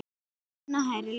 Sunna: Hærri laun?